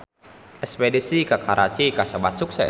Espedisi ka Karachi kasebat sukses